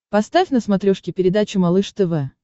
поставь на смотрешке передачу малыш тв